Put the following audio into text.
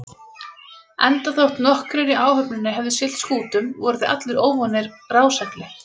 Endaþótt nokkrir í áhöfninni hefðu siglt skútum, voru þeir allir óvanir rásegli.